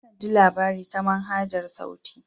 Akan ji labari ta manhajar sauti.